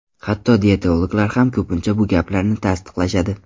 Hatto diyetologlar ham ko‘pincha bu gaplarni tasdiqlashadi.